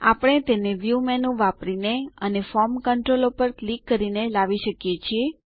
આપણે તેન view menu વાપરીને અને ફોર્મ ક્ન્ત્રોલો પર ક્લિક કરીને લાવી શકીએ છીએ